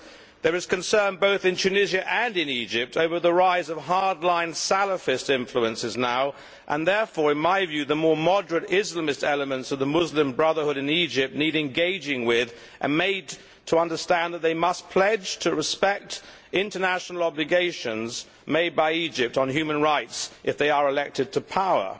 There is concern both in Tunisia and in Egypt over the rise of hardline Salafist influences now, and therefore in my view the more moderate Islamist elements of the Muslim Brotherhood in Egypt need engaging with and need to be made to understand that they must pledge to respect international obligations made by Egypt on human rights if they are elected to power.